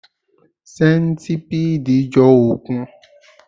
Sẹ́ńtipiidi jọ òkun